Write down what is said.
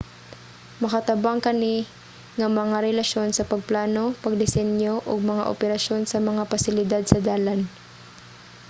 makatabang kani nga mga relasyon sa pagplano pagdisenyo ug mga operasyon sa mga pasilidad sa dalan